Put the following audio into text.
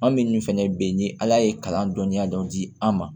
An minnu fɛnɛ be yen ni ala ye kalan dɔnniya dɔ di an ma